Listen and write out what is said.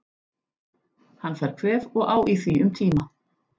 Hann fær kvef og á í því um tíma.